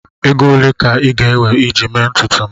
Ego ole ka ị ga-ewe iji mee ntutu m?